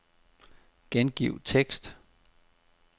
Gengiv tekst.